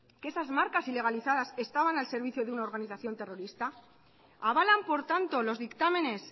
que esas marcas ilegalizadas estaban al servicio de una organización terrorista avalan por tanto los dictámenes